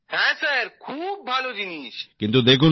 হ্যাঁ স্যার খুবই ভাল জিনিস